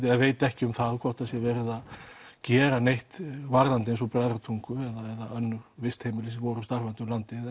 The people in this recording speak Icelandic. eða veit ekki um það hvort það sé verið að gera neitt varðandi Bræðratungu eða önnur vistheimili sem voru starfandi